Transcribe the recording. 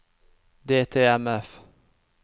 DTMF